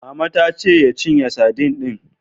Mama ta ce ya cinye sadin din.